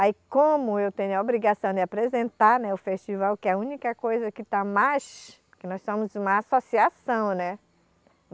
Aí, como eu tenho a obrigação de apresentar, né o festival, que é a única coisa que está mais... Porque nós somos uma associação, né?